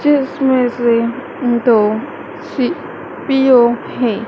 जिसमें से दो सी_पी_यू है।